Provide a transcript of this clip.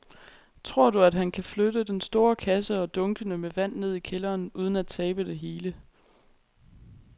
Tror du, at han kan flytte den store kasse og dunkene med vand ned i kælderen uden at tabe det hele?